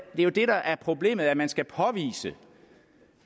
er jo det der er problemet nemlig at man skal påvise